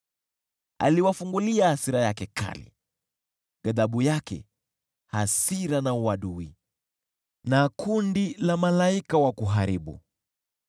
Aliwafungulia hasira yake kali, ghadhabu yake, hasira na uadui, na kundi la malaika wa kuharibu.